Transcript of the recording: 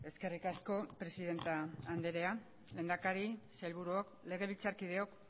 eskerrik asko presidente anderea lehendakari sailburuok legebiltzarkideok